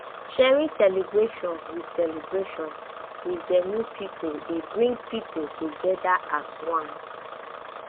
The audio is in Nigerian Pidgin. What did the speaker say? sharing celebration with celebration with genuine pipo dey bring pipo together as one